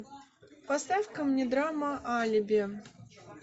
поставь ка мне драма алиби